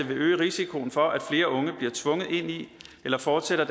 vil øge risikoen for at flere unge bliver tvunget ind i eller fortsætter